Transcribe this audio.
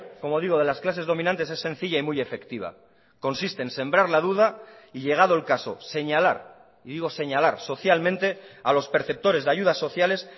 como digo de las clases dominantes es sencilla y muy efectiva consiste en sembrar la duda y llegado el caso señalar y digo señalar socialmente a los perceptores de ayudas sociales